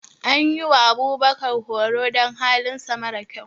An yi wa Abubakar horo don halinsa mara sa kyau.